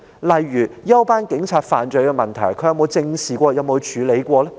例如，休班警察犯罪問題，他有否正視及處理過呢？